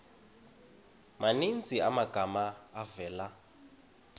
maninzi amagama avela